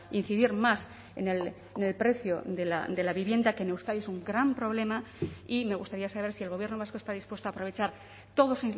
incidir más en el precio de la vivienda que en euskadi es un gran problema y me gustaría saber si el gobierno vasco está dispuesto a aprovechar todos